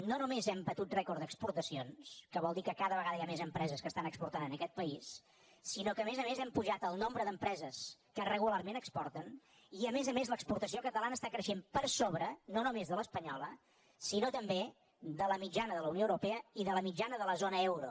no només hem batut rècord d’exportacions que vol dir que cada vegada hi ha mes empreses que estan exportant en aquest país sinó que a més a més hem pujat el nombre d’empreses que regularment exporten i a més a més l’exportació catalana està creixent per sobre no només de l’espanyola sinó també de la mitjana de la unió europea i de la mitjana de la zona euro